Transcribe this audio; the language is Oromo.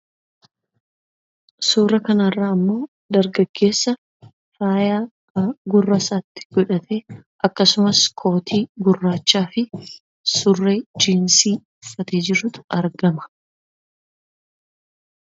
Suuraa kana irratti ammoo dargaggeessa faaya gurra isaa irratti godhate akkasumas kootii gurraachaafi surree jiinsii godhatee jirutu argama.